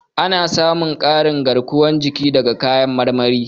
Ana samun ƙarin garkuwar jiki daga kayan marmari.